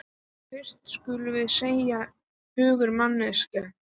En fyrst skulum við seðja hungur magans.